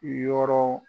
Yɔrɔ